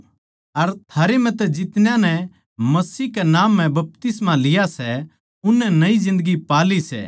अर थारे म्ह तै जितना नै मसीह के नाम म्ह बपतिस्मा लिया सै उननै नई जिन्दगी पा ली सै